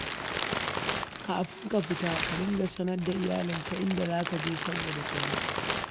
Kafin ka fita, ka dinga sanar da iyalinka inda za ka je saboda tsaro